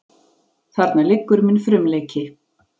Þarna liggur minn frumleiki.